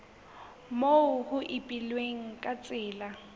moo ho ipehilweng ka tsela